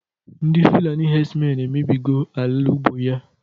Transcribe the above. Ndị fulani hedsmen emebigo ala ugbo ya